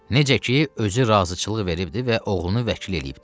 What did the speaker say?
Necə ki, özü razıçılıq veribdir və oğlunu vəkil eləyibdir.